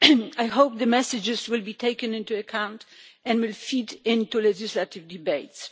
I hope the messages will be taken into account and will feed into legislative debates.